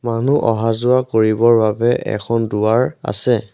মানুহ অহা-যোৱা কৰিবৰ বাবে এখন দুৱাৰ আছে।